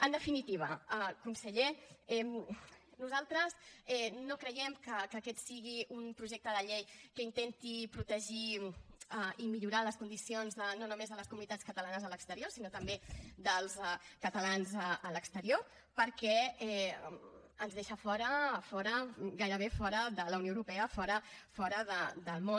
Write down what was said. en definitiva conseller nosaltres no creiem que aquest sigui un projecte de llei que intenti protegir i millorar les condicions no només de les comunitats catalanes a l’exterior sinó també dels catalans a l’exterior perquè ens deixa fora gairebé fora de la unió europea fora del món